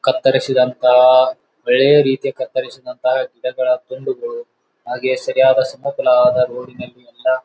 ಕತ್ತರಿಸಿದಂತಾ ಬೆಳೆಯ ರೀತಿ ಕತ್ತರಿಸಿದಂತಹ ಗಿಡಗಳ ತುಂಡುಗಳು ಹಾಗೆ ಸರಿಯಾದ ಸಮಫಲವಾದ ರೋಡಿನಲ್ಲಿ ಎಲ್ಲಾ --